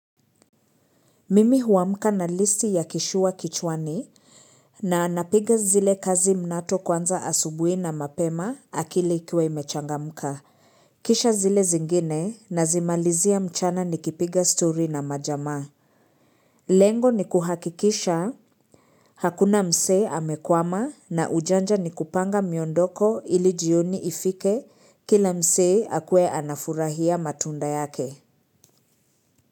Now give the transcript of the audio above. Mimi huamka na listi ya kishuwa kichwani na napiga zile kazi mnato kwanza asubuhi na mapema akili ikiwa imechangamka. Kisha zile zingine nazimalizia mchana nikipiga stori na majamaa. Lengo ni kuhakikisha hakuna msee amekwama na ujanja ni kupanga miondoko ili jioni ifike kila msee akuwe anafurahia matunda yake.